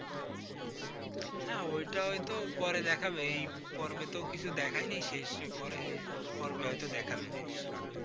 হ্যাঁ ওইটা হয়তো পরে দেখাবে, এই পর্বে তো কিছু দেখায়নি শেষ পরে পর্বে হয়তো দেখাবে জিনিসটা।